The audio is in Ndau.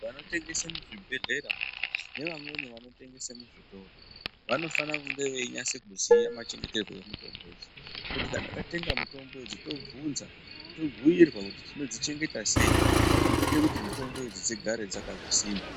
Vanotengese muzvibhehlera nevamweni vanotengese muzvitoro vanofanire kunge veinyase kuziya machengeterwe emitombo idzi kuti kana tatenga mitombo idzi tobvunza tobhuirwa kuti tinodzichengeta sei zvinoite kuti mitombo idzi dzigare dzakasimba.